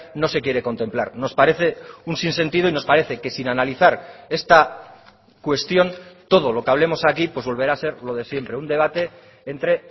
no se quiere contemplar nos parece un sin sentido y nos parece que sin analizar esta cuestión todo lo que hablemos aquí pues volverá a ser lo de siempre un debate entre